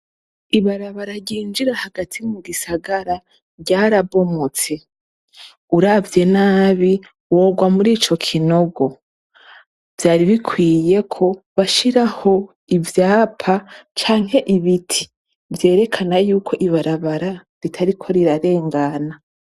Ibarabara ryinjira hagati mu gisagara ryarabomotse uravye nabi worwa muri ico kinogo vyari bikwiyeko bashiraho ivyapa canke ibiti vyerekana yuko ibarabara ritariko rirarengana.